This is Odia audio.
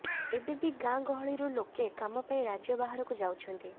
ଏବେ ବି ଗାଁ ଗହଳିରୁ ଲୋକେ କାମ ପାଇଁ ରାଜ୍ୟ ବାହାରକୁ ଯାଉଛନ୍ତି